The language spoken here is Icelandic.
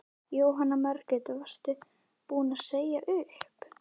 Jóhanna Margrét: Varst þú búin að segja upp?